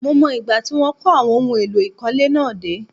Mo mọ̀ ìgbà tí wọ́n kó àwọn ohun èlò ìkọ́lé náà dé